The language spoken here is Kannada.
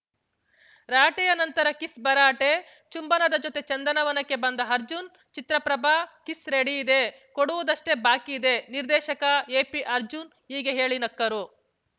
ರಾಟೆಯ ನಂತರ ಕಿಸ್‌ ಭರಾಟೆ ಚುಂಬನದ ಜೊತೆ ಚಂದನವನಕ್ಕೆ ಬಂದ ಅರ್ಜುನ್‌ ಚಿತ್ರ ಪ್ರಭ ಕಿಸ್‌ ರೆಡಿಯಿದೆ ಕೊಡುವುದಷ್ಟೇ ಬಾಕಿಯಿದೆ ನಿರ್ದೇಶಕ ಎಪಿಅರ್ಜುನ್‌ ಹೀಗೆ ಹೇಳಿ ನಕ್ಕರು